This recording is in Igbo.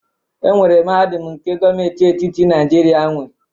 Enwere mahadum nke gọọmenti etiti Naijiria nwe